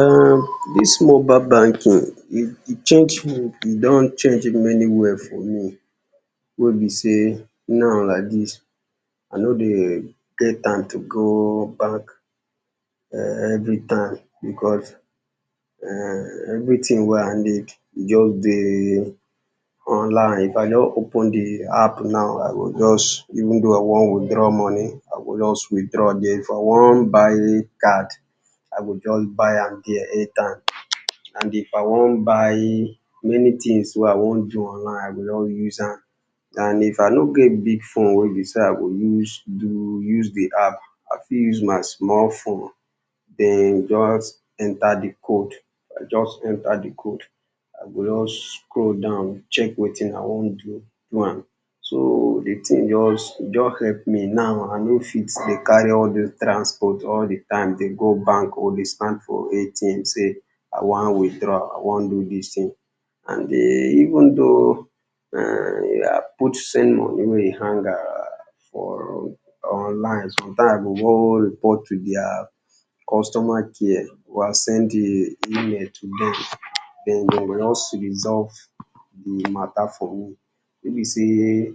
[urn] dis mobile banking e change e don change many way for me oh, wey be sey now like dis, I no dey get time to go bank [urn] every time because [urn] everything wey I need e just dey online, if I just open di app now, I go just, even though I wan withdraw money, I go just withdraw there, if I wan buy card I go just buy am there, airtime and if I wan buy many things wey I wan do online, I go just use am and if I no get big phone wey be sey I fit use do di app, I fit use my small phone, e just enter di code, I go just enter di code, I go just scroll down, check wetin I wan do do am, so di thing just e just help me now I no fit dey carry all doz transport all doz time dey stand for ATM sey I wan withdraw, I wan do dis thing and even though I put money wen e hang for online, sometime I go go report to di their costumer care, send a email to dem, den dem go just resolve di matter for me, no be sey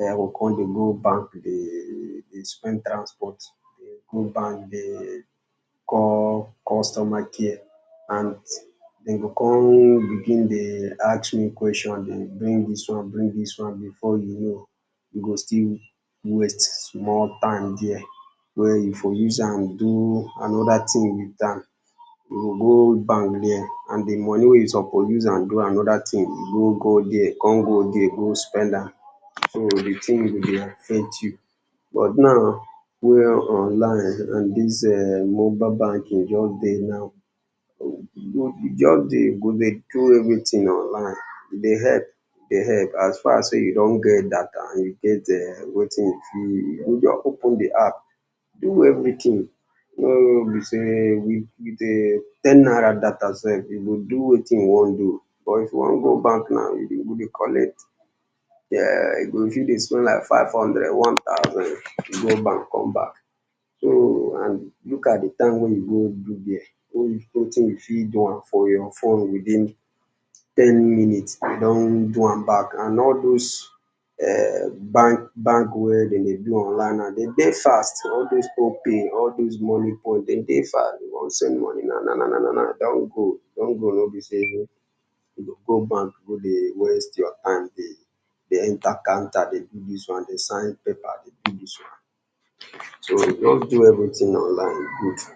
I go come dey go bank dey spend transport, dey go bank dey call costumer care and dem go come begin dey ask me question dey bring dis one dey bring dis one, before you know you go still waste small time there, wey you for use am do another thing with am, we go go bank there, and di money wey you suppose use am do another thing, you go go there come go there go spend am, so di thing go dey affect you but now wen online and dis mobile banking just dey now, kust dey you go dey do everything onl i n e, e dey help, dey help, as far sey you don get data and you get [urn] wetin you fit, you go just open di app, do everything no be wey be sey ten naira data sef, you go do wetin you wan do, but if you wan go bank now, you go dey collect five hundred, one thousand for going and come back, so and look at di time [2] wey be sey you fit do m for your phone, ten minutes you don do am, and all doz banks wey dem dey online, e dey fast all doz opay, all doz monie point, dem dey fast if you want send money na na na na no be di one wey be sey you go go bank go dey waste your time, dey enter conter dey do dis one dey sign paper dey do dis one, so you go just do all doz thing online, e good.